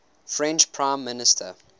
french prime minister